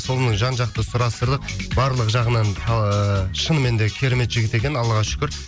сонымен жан жақты сұрастырылып барлық жағынан ыыы шынымен де керемет жігіт екен аллаға шүкір